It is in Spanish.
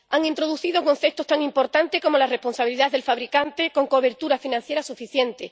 Han introducido conceptos tan importantes como la responsabilidad del fabricante, con cobertura financiera suficiente